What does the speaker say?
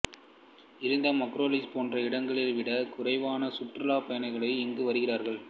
இருந்தும் அக்ரோபொலிஸ் போன்ற இடங்களைவிடக் குறைவான சுற்றுலாப்பயணிகளே இங்கு வருகிறார்கள்